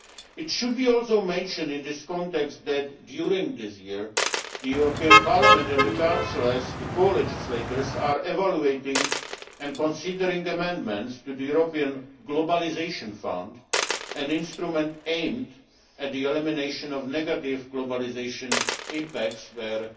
It should also be mentioned in this context that during this year, the European Parliament and the Council, as the co legislators, are evaluating and considering amendments to the European Globalisation Fund, an instrument aimed at the elimination of negative globalisation impacts, where